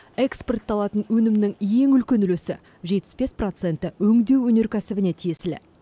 экспортталатын өнімнің ең үлкен үлесі жетпіс бес проценті өңдеу өнеркәсібіне тиесілі